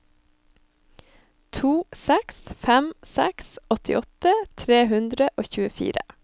to seks fem seks åttiåtte tre hundre og tjuefire